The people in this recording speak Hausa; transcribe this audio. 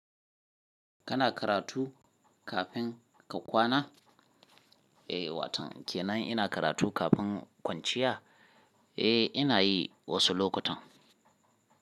Kana karatu kafin ka kwana? Eh, waton kenan ina karatu kafin kwanciya. Eh, ina yi wasu lokutan.